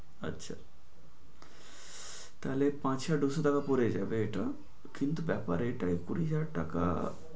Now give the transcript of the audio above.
আচ্ছা, তাহলে পাঁচ হাজার দু'শো টাকা পরে যাবে এটা কিন্তু ব্যাপার এটাই কুড়ি হাজার টাকা